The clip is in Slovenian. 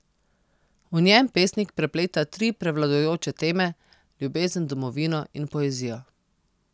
V njem pesnik prepleta tri prevladujoče teme, ljubezen, domovino in poezijo.